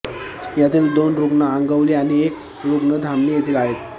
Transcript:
यातील दोन रुग्ण आंगवली आणि एक रुग्ण धामणी येथील आहेत